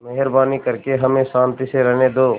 मेहरबानी करके हमें शान्ति से रहने दो